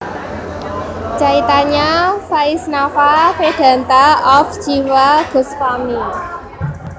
Caitanya Vaisnava Vedanta of Jiva Gosvami